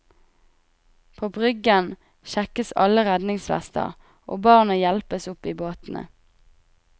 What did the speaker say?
På bryggen sjekkes alle redningsvester og barna hjelpes opp i båtene.